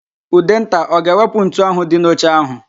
Ụdenta ọ ga-ewepụ ntu ahụ dị n'oche ahụ?